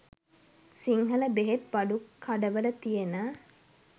සිංහල බෙහෙත් බඩුකඩවල තියෙන